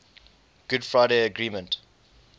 good friday agreement